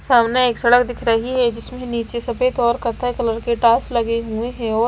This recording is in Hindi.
सामने एक सड़क दिख रही है जिसमें नीचे सफेद और कथय कलर के टाइल्स लगे हुए हैं और।